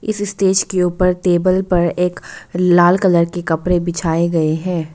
इस स्टेज के ऊपर टेबल पर एक लाल कलर के कपड़े बिछाए गए हैं।